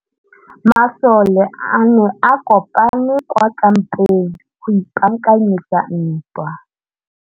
Masole a ne a kopane kwa kampeng go ipaakanyetsa ntwa.